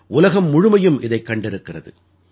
உலகம் முழுமையும் இதைக் கண்டிருக்கிறது